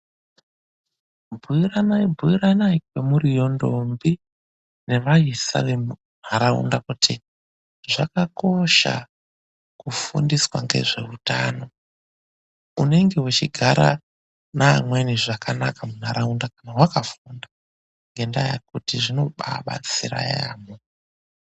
BUYIRANAI BUYIRANAI KWEMURIYO NDOMBI NEVAISA VEMUNDARAUNDA, KUTI ZVAKAKOSHA KUFUNDISWA NGEZVEUTANO. UNENGE WECHIGARA NEAMWENI ZVAKANAKA MUNHARAUNDA KANA WAKAFUNDA, NGENDAA YEKUTI ZVINOBAA BATSIRA YAMHO.